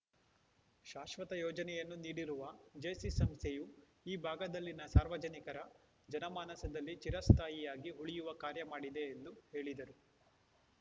ಶಾಶ್ವತ ಯೋಜನೆಯನ್ನು ನೀಡಿರುವ ಜೇಸಿ ಸಂಸ್ಥೆಯು ಈ ಭಾಗದಲ್ಲಿನ ಸಾರ್ವಜನಿಕರ ಜನಮಾನಸದಲ್ಲಿ ಚಿರಸ್ಥಾಯಿಯಾಗಿ ಉಳಿಯುವ ಕಾರ್ಯ ಮಾಡಿದೆ ಎಂದು ಹೇಳಿದರು